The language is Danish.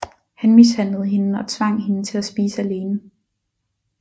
Han mishandlede hende og tvang hende til at spise alene